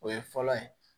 O ye fɔlɔ ye